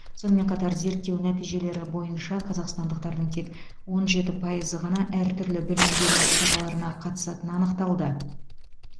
сонымен қатар зерттеу нәтижелері бойынша қазақстандықтардың тек он жеті пайызы ғана әртүрлі білім беру іс шараларына қатысатыны анықталды